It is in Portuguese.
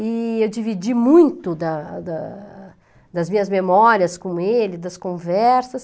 E eu dividi muito da da das minhas memórias com ele, das conversas.